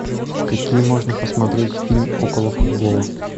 какие можно посмотреть фильм около футбола